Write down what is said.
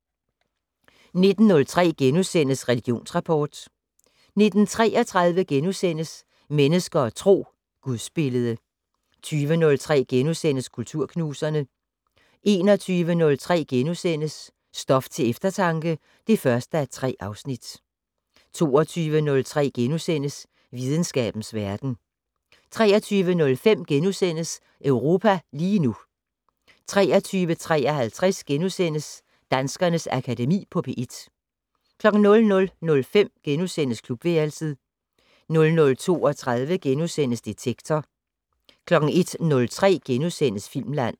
19:03: Religionsrapport * 19:33: Mennesker og Tro: Gudsbillede * 20:03: Kulturknuserne * 21:03: Stof til eftertanke (1:3)* 22:03: Videnskabens Verden * 23:05: Europa lige nu * 23:53: Danskernes Akademi på P1 * 00:05: Klubværelset * 00:32: Detektor * 01:03: Filmland *